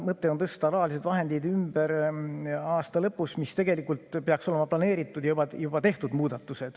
Mõte on tõsta rahalised vahendid ümber aasta lõpus ja tegelikult peaks see olema ette planeeritud ja muudatused juba tehtud.